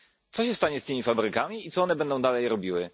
Co się stanie z tymi fabrykami i co one będą dalej robiły?